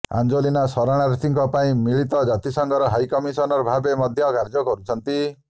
Angelina ଶରଣାର୍ଥୀଙ୍କ ପାଇଁ ମଳିତ ଜାତିସଂଘର ହାଇକମିଶନର ଭାବେ ମଧ୍ୟ କାର୍ଯ୍ୟ କରୁଛନ୍ତି